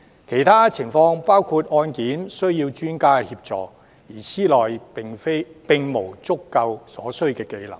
其他適用情況包括，案件需要專家協助，而司內並無足夠所需技能。